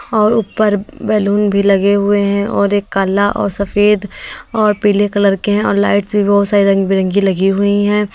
और ऊपर बैलून भी लगे हुए है और एक काला और सफेद और पीले कलर के है और लाइट्स भी बहुत सारी रंग बिरंगी लगी हुई हैं।